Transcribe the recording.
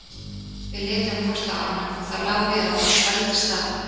Við litum hvort á annað og það lá við að okkur svelgdist á.